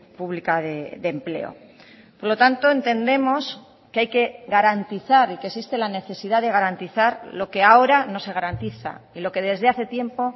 pública de empleo por lo tanto entendemos que hay que garantizar y que existe la necesidad de garantizar lo que ahora no se garantiza y lo que desde hace tiempo